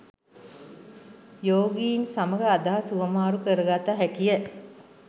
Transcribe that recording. යෝගීන් සමග අදහස් හුවමාරු කරගත හැකිය.